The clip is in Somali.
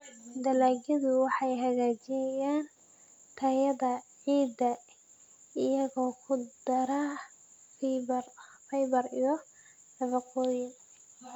Dalagyadu waxay hagaajiyaan tayada ciidda iyagoo ku dara fiber iyo nafaqooyin.